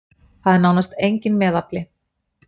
Það er nánast enginn meðafli.